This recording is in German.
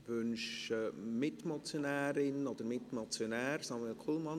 Wünscht die Mitmotionärin das Wort, oder der Mitmotionär Samuel Kullmann?